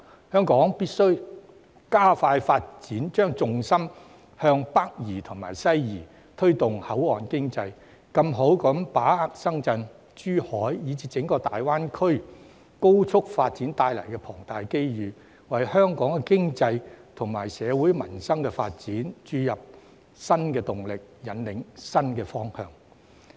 香港必須加快發展，將重心向北移及西移，推動口岸經濟，更充分把握深圳、珠海，以至整個大灣區高速發展帶來的龐大機遇，為香港經濟及社會民生發展注入新動力、引領新方向。